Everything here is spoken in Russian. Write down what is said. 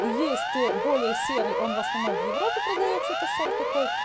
есть более серый он в основном в европе продаётся это сорт такой